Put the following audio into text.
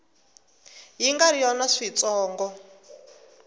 yi nga ri yona switsongo